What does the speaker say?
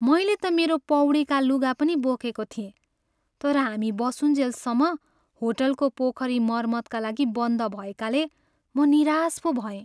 मैले त मेरो पौडीका लुगा पनि बोकेको थिएँ तर हामी बसुन्जेलसम्म होटलको पोखरी मर्मतका लागि बन्द भएकाले म निराश पो भएँ।